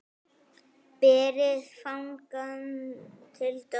Berið fangann til dóms.